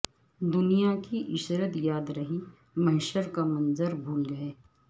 دنیا کی عشرت یاد رہی محشر کا منظر بھول گئے